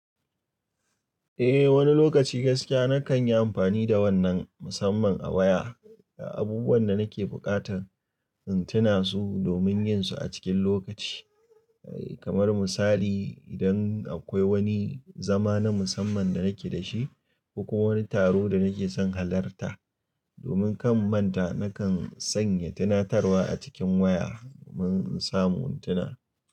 Eh wani lokaci gaskiya na kan yi amfani da wannan musamman a waya. Abubuwan da nake buƙatar in tuna su domin yin su a cikin lokaci. Kamar misali idan akwai wani zama na musamman da nake da shi ko wani taro da nake son halarta domin kan manta, na kan sanya tunatarwa a cikin waya domin in samu tuna.